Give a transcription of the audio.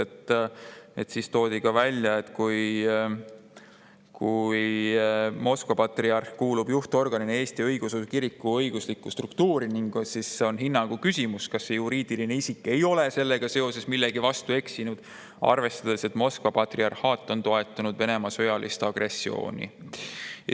Toodi esile ka see, et kui Moskva patriarh kuulub juhtorganina Eesti õigeusu kiriku õiguslikku struktuuri, siis on hinnangu küsimus, kas see juriidiline isik ei ole sellega seoses millegi vastu eksinud, arvestades, et Moskva patriarhaat on toetanud Venemaa sõjalist agressiooni.